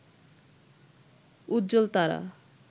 উজ্জ্বল তারা